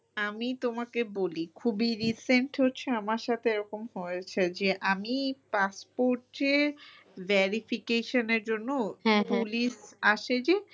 আমি তোমাকে বলি খুবই recent হচ্ছে আমার সাথে এরকম হয়েছে যে আমি passport এ verification এর জন্য আসে যে